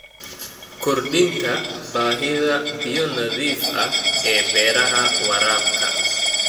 Kordhinta baahida biyo nadiif ah ee beeraha waraabka.